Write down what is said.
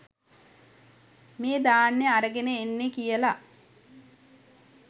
මේ ධාන්‍ය අරගෙන එන්නේ කියලා.